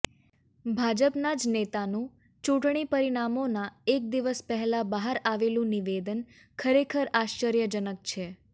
ભાજપના જ નેતાનું ચૂંટણી પરિણામોના એક દિવસ પહેલાં બહાર આવેલું નિવેદન ખરેખર આશ્ચર્યજનક છે